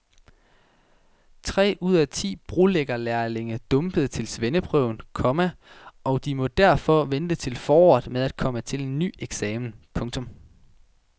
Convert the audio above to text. Tre ud af ti brolæggerlærlinge dumpede til svendeprøven, komma og de må derfor vente til foråret med at komme til en ny eksamen. punktum